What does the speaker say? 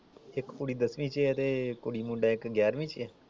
ਇਕ ਕੁੜੀ ਦੱਸਵੀ ਚ ਆ ਤੇ ਕੁੜੀ ਮੁੰਡਾ ਇਕ ਗਿਆਰਵੀ ਚ ਆ?